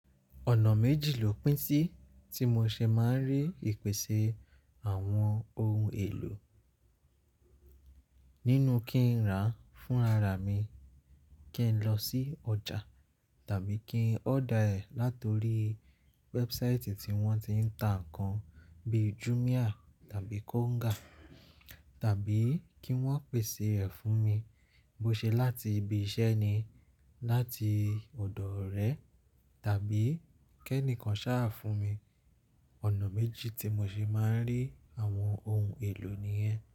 Ọ̀nà méjì lò pín sí tí mo ṣe máa ń rí ìpèsè àwọn ohun èlò. Nínú kí n rà á fún ara mi, kí n lọ sí ọjà tàbí kí n order ẹ̀ látọrí website tí wọ́n ti ń ta nǹkan bíi Jumia tàbí Konga, tàbí kí wọ́n pèsè rẹ̀ fún mi. Bo ṣe láti ibi iṣẹ́ ni, láti ọ̀dọ̀ orẹ tàbí kí ẹnìkan ṣàá fún mi. Ọ̀nà méjì tí mo ṣe máa ń rí àwọn ohun èlò nìyen.